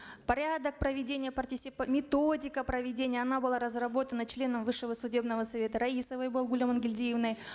порядок проведения методика проведения она была разработана членом высшего судебного совета раисовой балгуль амангельдиевной